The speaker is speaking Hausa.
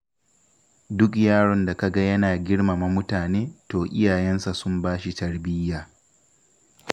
Duk yaron da kaga yana girmama mutane, to iyayensa sun bashi tarbiyya.